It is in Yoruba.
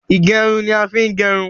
Ìgẹrun ni a ń fi ń gerun